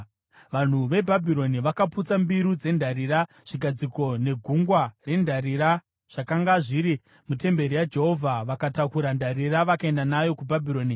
Vanhu veBhabhironi vakaputsa mbiru dzendarira, zvigadziko neGungwa rendarira zvakanga zviri mutemberi yaJehovha vakatakura ndarira vakaenda nayo kuBhabhironi.